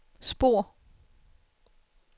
spor